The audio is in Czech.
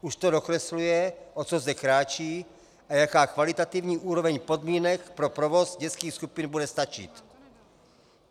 Už to dokresluje, o co zde kráčí a jaká kvalitativní úroveň podmínek pro provoz dětských skupin bude stačit.